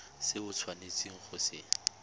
se o tshwanetseng go se